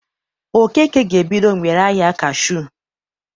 Okeke ga-ebido mgbereahịa kashuu